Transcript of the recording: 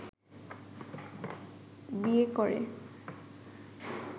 বিয়ে করে